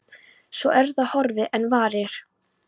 Svo er það horfið fyrr en varir.